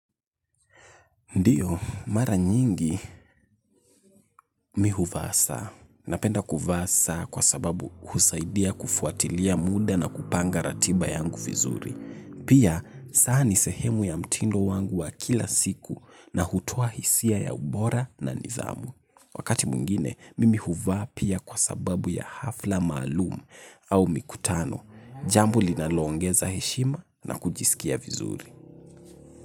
Ndio, mara nyingi mi huvaa saa. Napenda kuvaa saa kwa sababu husaidia kufuatilia muda na kupanga ratiba yangu vizuri. Pia, saa ni sehemu ya mtindo wangu wa kila siku na hutoa hisia ya ubora na nidhamu. Wakati mwingine, mimi huvaa pia kwa sababu ya hafla maalumu au mikutano. Jambo linaloongeza heshima na kujisikia vizuri.